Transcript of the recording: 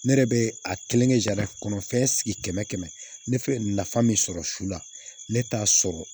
Ne yɛrɛ bɛ a kelen kɛ kɔnɔ fɛn sigi kɛmɛ kɛmɛ ne fɛ nafa min sɔrɔ su la ne t'a sɔrɔ